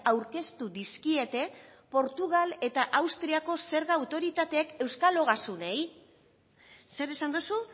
aurkeztu dizkiete portugal eta austriako zerga autoritateek euskal ogasunei zer esan duzu